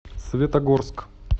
светогорск